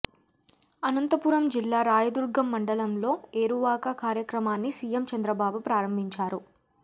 అనంతపురం జిల్లా రాయదుర్గం మండలంలో ఏరువాక కార్యక్రమాన్ని సీఎం చంద్రబాబు ప్రారంభించారు